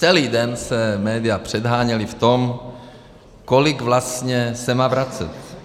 Celý den se média předháněla v tom, kolik vlastně se má vracet.